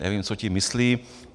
Nevím, co tím myslí.